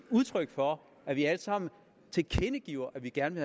udtryk for at vi alle sammen tilkendegiver at vi gerne